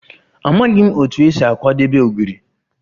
Amaghị m otú e si akwadebe Ogiri